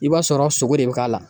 I b'a sɔrɔ sogo de bi k'a la